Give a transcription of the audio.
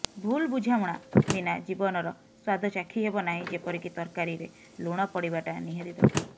ଭୁଲ୍ ବୁଝାମଣା ବିନା ଜୀବନର ସ୍ୱାଦ ଚାଖିହେବ ନାହିଁ ଯେପରିକି ତରକାରୀରେ ଲୁଣ ପଡ଼ିବାଟା ନିହାତି ଦରକାର